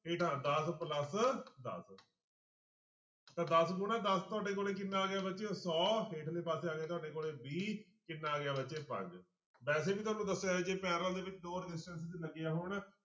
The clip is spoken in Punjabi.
ਹੇਠਾਂ ਦਸ plus ਦਸ ਤਾਂ ਦਸ ਗੁਣਾ ਦਸ ਤੁਹਾਡੇ ਕੋਲ ਕਿੰਨਾ ਆ ਗਿਆ ਬੱਚਿਓ ਸੌ ਹੇਠਲੇ ਪਾਸੇ ਆ ਗਿਆ ਤੁਹਾਡੇ ਕੋਲ ਵੀਹ ਕਿੰਨਾ ਆ ਗਿਆ ਬੱਚੇ ਪੰਜ ਵੈਸੇ ਵੀ ਤੁਹਾਨੂੰ ਦੱਸਿਆ ਜੇ parallel ਦੇ ਵਿੱਚ ਦੋ resistance ਲੱਗੇ ਹੋਣ